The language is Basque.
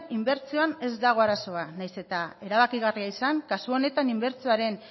inbertsioan ez dago arazoa nahiz eta erabakigarria izan kasu honetan inbertsioaren